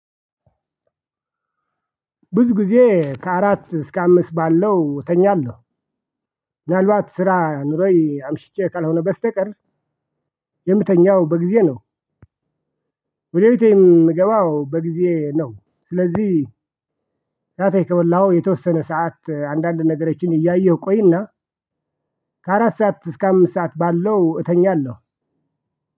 ብዙ ጊዜ ከአራት እስከ አምስት ባለው እተኛለሁ። ምናልባት ስራ ኑሮኝ አምሽቼ ካልሆነ በስተቀር። የምትተኛው በጊዜ ነው። ወደ ቤቴ ምገባው በጊዜ ነው። ስለዚህ ራቴ ከበላሁ የተወሰነ ሰዓት አንዳንድ ነገሮችን እያየሁ ቆይና። ከአራት ሰዓት እስከ አምስት ሰዓት ባለው እተኛለሁ።